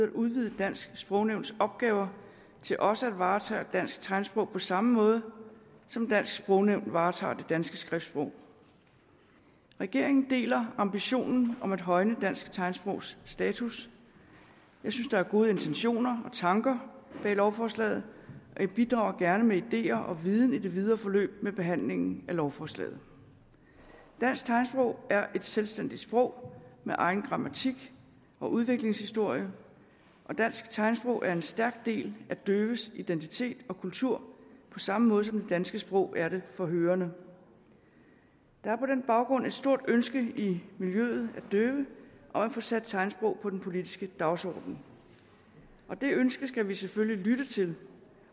at udvide dansk sprognævns opgaver til også at varetage dansk tegnsprog på samme måde som dansk sprognævn varetager det danske skriftsprog regeringen deler ambitionen om at højne dansk tegnsprogs status jeg synes der er gode intentioner og tanker bag lovforslaget og jeg bidrager gerne med ideer og viden i det videre forløb med behandlingen af lovforslaget dansk tegnsprog er et selvstændigt sprog med egen grammatik og udviklingshistorie og dansk tegnsprog er en stærk del af døves identitet og kultur på samme måde som det danske sprog er det for hørende der er på den baggrund et stort ønske i miljøet af døve om at få sat tegnsprog på den politiske dagsorden det ønske skal vi selvfølgelig lytte til